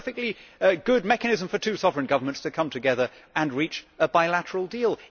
There is a perfectly good mechanism whereby two sovereign governments come together and reach a bilateral deal.